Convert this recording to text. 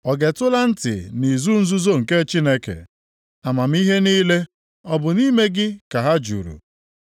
Ọ getụla ntị nʼizu nzuzo nke Chineke? Amamihe niile ọ bụ nʼime gị ka ha juru?